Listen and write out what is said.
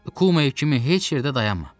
Kumay kimi heç yerdə dayanma!